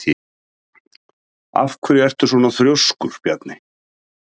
Af hverju ertu svona þrjóskur, Bjarney?